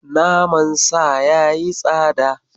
Nama Sa ya yi tsada.